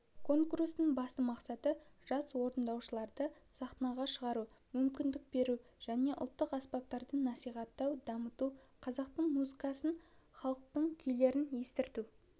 конкурстың басты мақсаты жас орындаушыларды сахнаға шығару мүмкіндік беру және ұлттық аспаптарды насихаттау дамыту қазақтың музыкасын халықтың күйлерін естірту